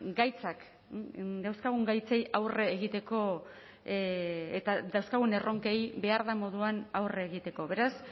gaitzak dauzkagun gaitzei aurre egiteko eta dauzkagun erronkei behar den moduan aurre egiteko beraz